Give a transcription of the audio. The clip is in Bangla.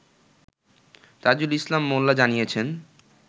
তাজুল ইসলাম মোল্লা জানিয়েছেন